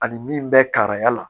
Ani min bɛ kara la